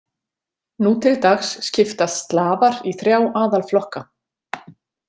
Nú til dags skiptast Slavar í þrjá aðalflokka.